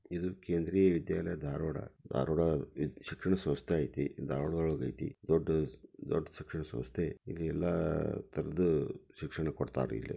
ಇದು ಕೇಂದ್ರೀಯ ವಿದ್ಯಾಲಯ ಧಾರವಾಡ. ಧಾರವಾಡ ಶಿಕ್ಷಣ ಸಂಸ್ಥೆ ಐತಿ. ಧಾರವಾಡ್ದೊಳಗ ಐತಿ. ದೊಡ್ಡ್ ದೊಡ್ಡ್ ಶಿಕ್ಷಣ ಸಂಸ್ಥೆ. ಇಲ್ಲಿ ಎಲ್ಲಾ ತರದ್ದು ಶಿಕ್ಷಣ ಕೊಡ್ತಾರಿಲ್ಲೆ.